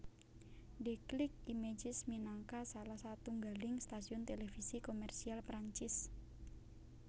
Déclic Images minangka salah satunggaling stasiun televisi komersial Perancis